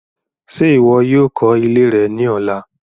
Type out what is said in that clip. Ṣe iwọ yoo kọ ile rẹ ni ọla